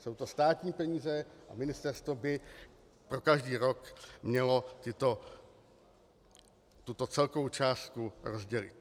Jsou to státní peníze a ministerstvo by pro každý rok mělo tuto celkovou částku rozdělit.